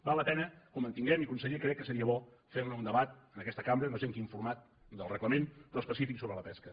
val la pena que ho mantinguem i conseller crec que seria bo fer ne un debat en aquesta cambra no sé en quin format del reglament però específic sobre la pesca